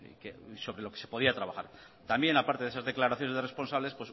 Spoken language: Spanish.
ahí y sobre lo que se podía trabajar también aparte de esas declaraciones de responsables